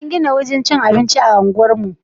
An gina wurin cikin abinci a unguwarku?